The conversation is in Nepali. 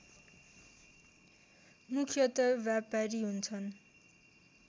मुख्यत व्यापारी हुन्छन्